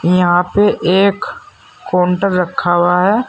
यहां पे एक काउंटर रखा हुआ है।